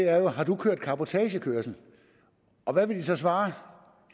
er har du kørt cabotagekørsel og hvad vil de så svare